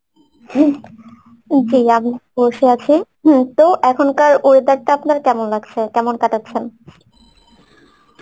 ing বসে আছি হম তো এখনকার weather টা আপনার কেমন লাগছে? কেমন কাটাচ্ছেন?